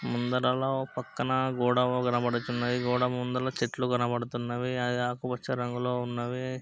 ముందరలో ఒక పక్కన గోడ కనపడుచున్నది. గోడ ముందు చెట్లు కనపడుతున్నవి. అవి పచ్చ రంగులో ఉన్నవి.